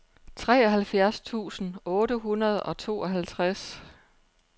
treoghalvfjerds tusind otte hundrede og tooghalvtreds